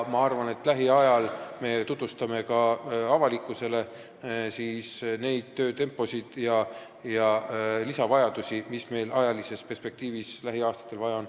Ma arvan, et lähiajal me tutvustame ka avalikkusele seda töötempot ja neid lisavajadusi, mis meil lähiaastatel on.